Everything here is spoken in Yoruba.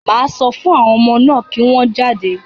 Màá sọ fún àwọn ọmọ náà kí wọ́n jáde.